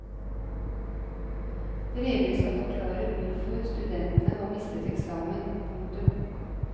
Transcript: Brevene skal forklare hvorfor studentene har mistet eksamen. punktum